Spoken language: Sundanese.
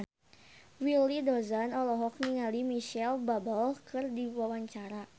Willy Dozan olohok ningali Micheal Bubble keur diwawancara